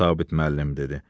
Eh, Sabit müəllim dedi.